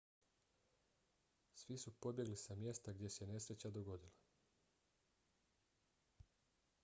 svi su pobjegli sa mjesta gdje se nesreća dogodila